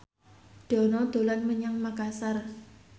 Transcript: Dono dolan menyang Makasar